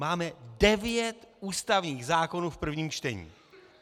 Máme devět ústavních zákonů v prvním čtení.